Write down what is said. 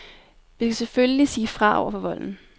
Vi skal selvfølgelig sige fra over for volden.